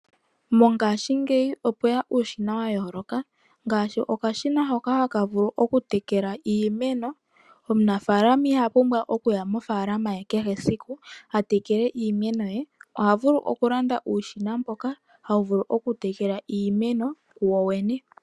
Mongashingeyi opweya uushina wa yooloka ngaashi okashina hoka haka tekele iimeno. Omunafalaama iha pumbwa we okuya mofaalama aka tekele iimeno yemwene kehe esiku, oha landa ashike okashina hoka haka tekele iimeno kokene.